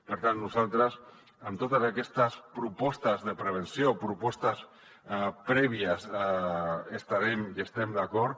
per tant nosaltres amb totes aquestes propostes de prevenció propostes prèvies hi estarem i hi estem d’acord